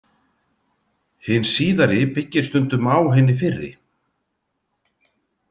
Hin síðari byggir stundum á hinni fyrri.